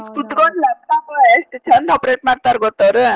ಕೂತಕೊಂಡ laptop ಎಷ್ಟ್ ಚಂದ್ operate ಮಾಡ್ತಾರ್ ಗೊತ್ತ್ ಅವ್ರು?